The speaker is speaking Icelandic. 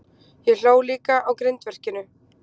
Ég hló líka á grindverkinu.